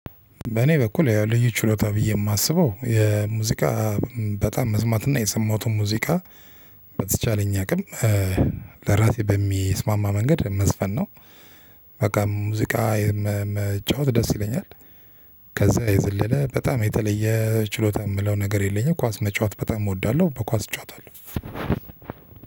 በእኔ በኩል ያው ልዩ ችሎታ ብዬ የማስበው የሙዚቃ በጣም መስማት እና የሰማሁትን ሙዚቃ በተቻለኝ አቅም ለራሴ በሚስማማ መንገድ መዝፈን ነው። በቃ ሙዚቃ መጫወት ደስ ይለኛል። ከዛ የዘለለ በጣም የተለየ ችሎታ የምለው ነገር የለኝም። ኳስ መጫወት በጣም እወዳለሁ በኳስ እጫወታለሁ።